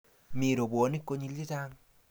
mi robwoniek konyil chechang